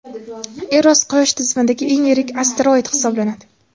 Eros – quyosh tizimidagi eng yirik asteroid hisoblanadi.